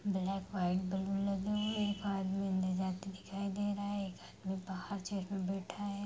Black white balloon लगे है। एक आदमी ले जाते दिखाई दे रहा है एक आदमी बाहर चेयर पर बैठा है